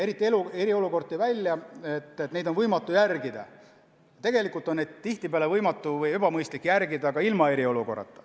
Eriti eriolukord tõi välja, et neid on võimatu järgida, aga tihtipeale on neid võimatu või ebamõistlik järgida ka tavaolukorras.